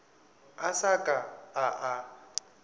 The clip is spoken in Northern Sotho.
a sa ka a a